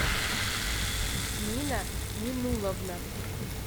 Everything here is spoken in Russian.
нина миннулловна